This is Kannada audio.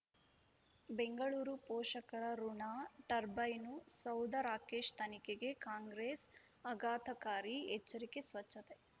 ಬೆಂಗಳೂರು ಪೋಷಕರಋಣ ಟರ್ಬೈನು ಸೌಧ ರಾಕೇಶ್ ತನಿಖೆಗೆ ಕಾಂಗ್ರೆಸ್ ಆಘಾತಕಾರಿ ಎಚ್ಚರಿಕೆ ಸ್ವಚ್ಛತೆ